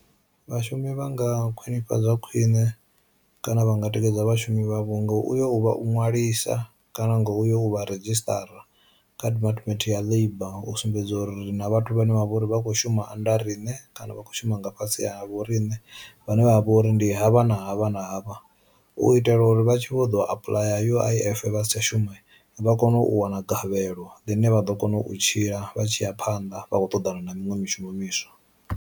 Vhashumi vha nga khwinifhadzwa khwine kana vha nga tikedza vhashumi vha vhunga uyo uvha u nwalisa kana ngo uyo u vha redzhisṱara kha Department ya Labour u sumbedza uri ri na vhathu vhane vha vha uri vha kho shuma anda riṋe kana vha kho shuma nga fhasi ha vho riṋe vhane vha vha uri ndi havha na havha na havha, u itela uri vha tshi vho apuḽaya U_I_F vha si tsha shuma vha kone u wana gavhelo ḽine vha ḓo kona u tshila vha tshi ya phanḓa vha khou ṱoḓana na miṅwe mishumo miswa.